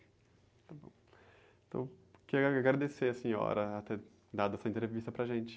Está bom, então, quero agradecer a senhora ter dado essa entrevista para a gente.